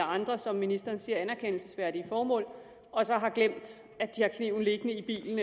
andre som ministeren siger anerkendelsesværdige formål og så har glemt at kniven liggende i bilen